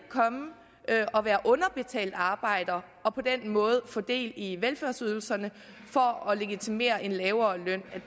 at og være underbetalt arbejder og på den måde få del i velfærdsydelserne og at legitimere en lavere løn